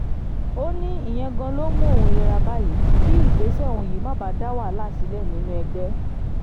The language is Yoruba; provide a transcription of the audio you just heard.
ó ní ìyẹn gan-an ló mú òun yéra báyìí kí ìgbésẹ̀ òun yìí má dá wàhálà sílẹ̀ nínú ẹgbẹ́